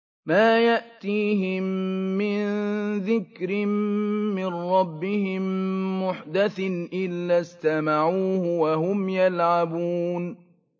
مَا يَأْتِيهِم مِّن ذِكْرٍ مِّن رَّبِّهِم مُّحْدَثٍ إِلَّا اسْتَمَعُوهُ وَهُمْ يَلْعَبُونَ